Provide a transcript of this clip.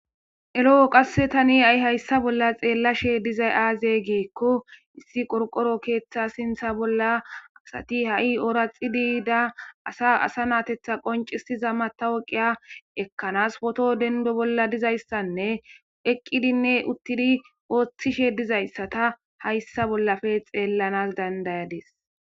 Ero qasse tani ha7i hayssa bolla xeelashe dizayi aaze giiko qorqqoro keetha sinththa bolla asati ha7i ooraxidi yida asa asanatetha qinccisiza matawoqiya ekkanasi pooto denddo bolla dizayssane eqqidine uttidi oothishe dizayssata hayssa bolla xeelanasi dandayadissi.